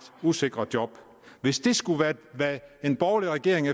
usikre job hvis det skulle være det en borgerlig regering